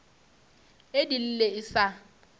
e di lle e sa